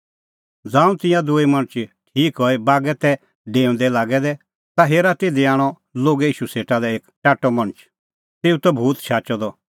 ज़ांऊं तिंयां दूई मणछ ठीक हई बागै तै डेऊंदै लागै दै ता हेरा तिधी आणअ लोगै ईशू सेटा लै एक टाट्टअ मणछ तेऊ दी त भूत शाचअ द